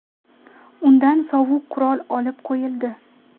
Undan sovuq qurol olib qo‘yildi.